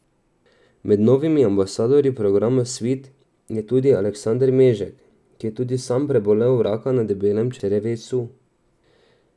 Med novimi ambasadorji programa Svit je tudi Aleksander Mežek, ki je tudi sam prebolel raka na debelem črevesu.